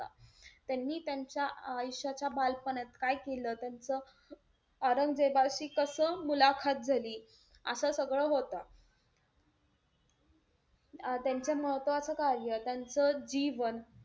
त्यांनी त्यांच्या आयुष्याच्या बालपणात काय केलं, त्यांचं औरंगजेबाशी कसं झाली, असं सगळं होतं. अं त्यांचं महत्वाचं कार्य, त्यांचं जीवन,